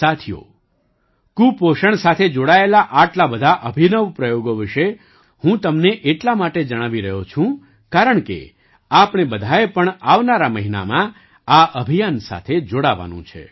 સાથીઓ કુપોષણ સાથે જોડાયેલા આટલા બધા અભિનવ પ્રયોગો વિશે હું તમને એટલા માટે જણાવી રહ્યો છું કારણકે આપણે બધાએ પણ આવનારા મહિનામાં આ અભિયાન સાથે જોડાવાનું છે